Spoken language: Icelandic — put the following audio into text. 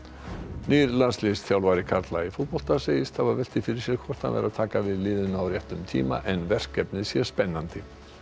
nýr landsliðsþjálfari karla í fótbolta segist hafa velt því fyrir sér hvort hann væri að taka við liðinu á réttum tíma en verkefnið sé spennandi